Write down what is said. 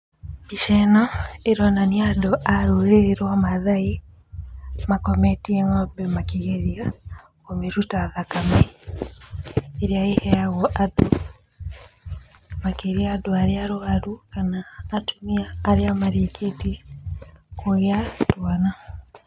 Mbica ĩno ĩronania andũ a rũrĩrĩ rwa mathai makometie ng'ombe makĩgeria kũmĩruta thakame ĩrĩa ĩheagwo andũ, makĩrĩa andũ arĩa arwaru, kana atumia arĩa marĩkĩtie kũgĩa twana.